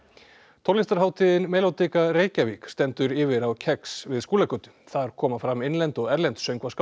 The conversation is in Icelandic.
tónlistarhátíðin Reykjavík stendur yfir á kex við Skúlagötu þar koma fram innlend og erlend